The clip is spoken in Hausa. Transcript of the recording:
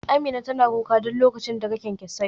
Amina tana kuka duk lokacin da ta ga kyankyasai